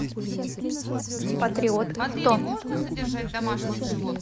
патриот авто